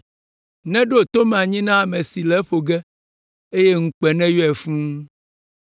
Neɖo to me anyi na ame si le eƒo ge eye ŋukpe neyɔe fũu.